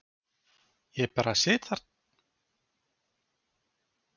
Ég bara sit þar.